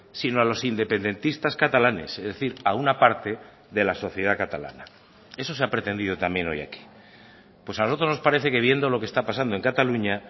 sino a los independentistas catalanes es decir a una parte de la sociedad catalana eso se ha pretendido también hoy aquí pues a nosotros nos parece que viendo lo que está pasando en cataluña